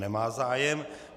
Nemá zájem.